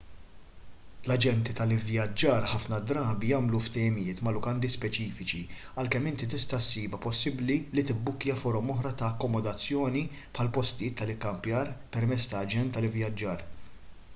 l-aġenti tal-ivvjaġġar ħafna drabi jagħmlu ftehimiet ma' lukandi speċifiċi għalkemm inti tista' ssibha possibbli li tibbukkja forom oħra ta' akkomodazzjoni bħal postijiet tal-ikkampjar permezz ta' aġent tal-ivvjaġġar